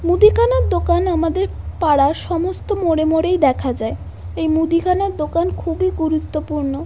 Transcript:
মুদিখানার দোকান আমাদের পাড়ার সমস্ত মোড়ে মোড়েই দেখা যায় এই মুদিখানার দোকান খুবই গুরুত্বপূর্ণ ।